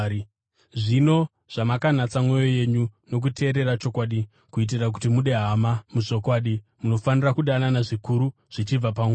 Zvino zvamakanatsa mwoyo yenyu nokuteerera chokwadi kuitira kuti mude hama muzvokwadi, munofanira kudanana zvikuru, zvichibva pamwoyo.